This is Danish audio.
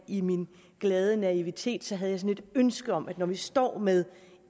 i min glade naivitet havde sådan et ønske om at vi når vi står med